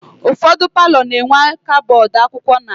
Ụfọdụ paalọ na-enwe kabọọdụ akwụkwọ na ya.